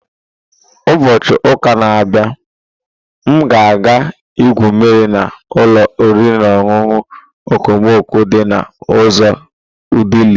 Ubochi uka na-abịa, m ga-aga igwu mmiri na ụlọ oriri na ọṅụṅụ okomoko di na uzo Odili.